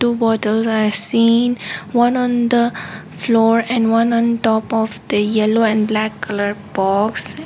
two bottles are seen one on the floor and one on the top of yellow and black box.